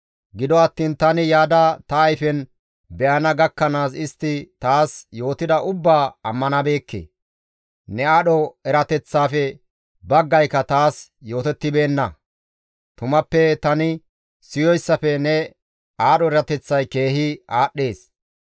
Gido attiin tani yaada ta ayfen be7ana gakkanaas istti taas yootida ubbaa ammanabeekke. Ne aadho erateththaafe baggayka taas yootettibeenna; tumappe tani siyoyssafe ne aadho erateththay keehi aadhdhees.